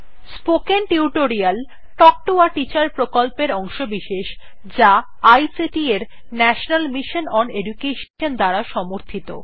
spoken Tutorial Talk to a Teacher প্রকল্পের অংশবিশেষ যা আইসিটি এর ন্যাশনাল মিশন ওন এডুকেশন দ্বারা সমর্থিত